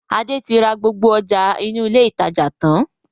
Adé tí ra gbogbo ọjà inú ilé ìtajà tàn-án